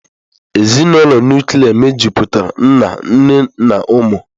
Ezinụlọ nụklịa mejupụtara nna, nne na ụmụ.